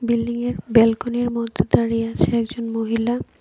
বিল্ডিংয়ের ব্যালকনির মধ্যে দাঁড়িয়ে আছে একজন মহিলা।